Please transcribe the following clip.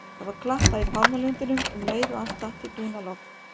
Það var klappað í pálmalundinum um leið og allt datt í dúnalogn.